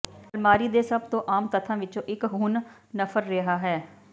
ਅਲਮਾਰੀ ਦੇ ਸਭ ਤੋਂ ਆਮ ਤੱਥਾਂ ਵਿਚੋਂ ਇਕ ਹੁਣ ਨਫਰ ਰਿਹਾ ਹੈ